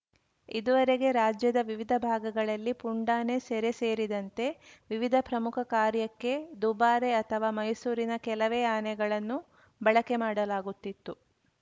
ಇದುವರೆಗೆ ರಾಜ್ಯದ ವಿವಿಧ ಭಾಗಗಳಲ್ಲಿ ಪುಂಡಾನೆ ಸೆರೆ ಸೇರಿದಂತೆ ವಿವಿಧ ಪ್ರಮುಖ ಕಾರ್ಯಕ್ಕೆ ದುಬಾರೆ ಅಥವಾ ಮೈಸೂರಿನ ಕೆಲವೇ ಆನೆಗಳನ್ನು ಬಳಕೆ ಮಾಡಲಾಗುತ್ತಿತ್ತು